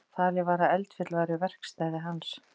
Talið var að eldfjöll væru verkstæði hans.